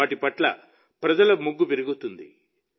వాటి పట్ల ప్రజల మొగ్గు పెరుగుతుంది